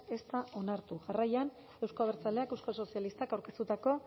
ez da onartu jarraian euzko abertzaleak euskal sozialistak aurkeztutako